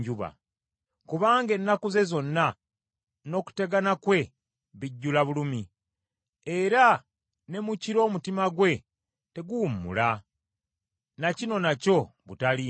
Kubanga ennaku ze zonna n’okutegana kwe bijjula bulumi; era ne mu kiro omutima gwe teguwummula; na kino nakyo butaliimu.